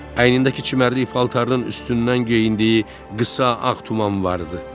Əynindəki çimərlik paltarının üstündən geyindiyi qısa ağ tuman vardı.